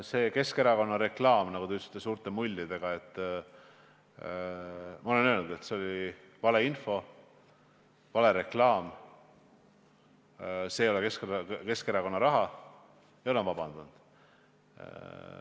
See Keskerakonna reklaam, nagu te ütlesite, suurte mullidega – ma olen öelnud, et see oli vale info, vale reklaam, see ei ole Keskerakonna raha ja ma olen vabandust palunud.